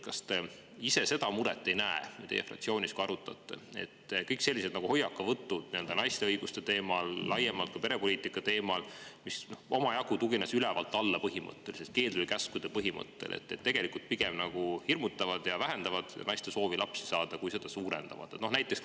Kas te ise või teie fraktsioon seda muret ei näe, et kõik sellised hoiakuvõtud nii naiste õiguste teemal kui ka laiemalt perepoliitika teemal, mis omajagu tuginevad ülevalt alla põhimõttele, keeldude-käskude põhimõttele, pigem hirmutavad naisi ja vähendavad soovi lapsi saada, mitte ei suurenda seda?